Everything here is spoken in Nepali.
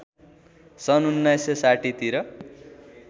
सन् १९६० तिर